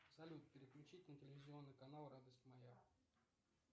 салют переключить на телевизионный канал радость моя